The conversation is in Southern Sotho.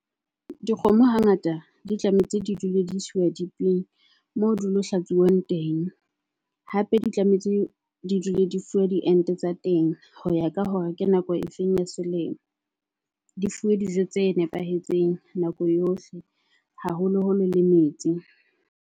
Dikgomo hangata di tlametse di dule di isiwa dipping moo di lo hlatsuwa teng. Hape di tlametse di dule di fuwa di ente tsa teng, ho ya ka hore ke nako e feng ya selemo. Di fuwe dijo tse nepahetseng nako yohle, haholoholo le metsi.